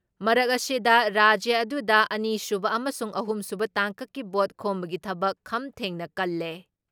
ꯃꯔꯛ ꯑꯁꯤꯗ, ꯔꯥꯖ꯭ꯌ ꯑꯗꯨꯗ ꯑꯅꯤꯁꯨꯕ ꯑꯃꯁꯨꯡ ꯑꯍꯨꯝꯁꯨꯕ ꯇꯥꯡꯀꯛꯀꯤ ꯚꯣꯠ ꯈꯣꯝꯕꯒꯤ ꯊꯕꯛ ꯈꯝ ꯊꯦꯡꯅ ꯀꯜꯂꯦ ꯫